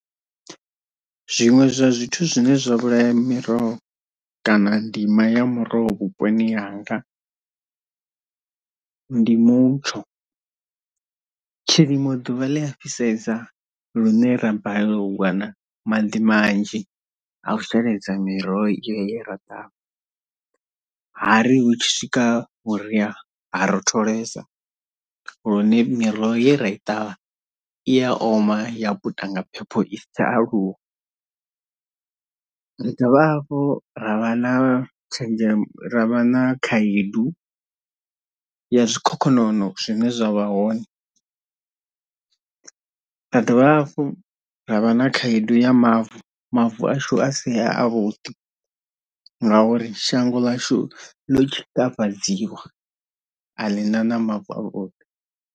Zwiṅwe zwa zwithu zwine zwa vhulaya miroho kana ndima ya muroho vhuponi hanga ndi mutsho, tshilimo ḓuvha ḽi a fhisesa lune ra balelwe u wana maḓi manzhi a u sheledza miroho ye ra ṱavha hari hu tshi swika vhuria ha rotholesa lune miroho ye ra i ṱavha i ya oma ya puta nga phepho i si tsha aluwa, ri dovha hafhu ra vha na tshenzhemo ra vha na khaedu ya zwikhokhonono zwine zwa vha hone, ra dovha hafhu ra vha na khaedu ya mavu, mavu ashu a si a vhuḓi ngauri shango ḽashu ḽo tshikafhadziwa a ḽi na na mavu o o